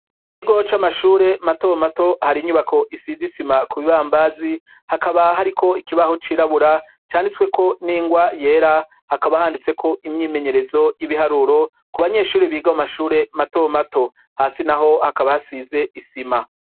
Ikigo c'amashure mato mato hari inyubako isize isima ku bibambazi, hakaba hariko ikibaho cirabura canditswe ko n'ingwa yera, hakaba handitseko imyimenyerezo y'ibiharuro ku banyeshuri biga mu mashure mato mato. Hasi naho hakaba hasize isima.